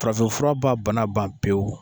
Farafinfura b'a bana ban pewu